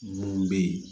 Mun bɛ yen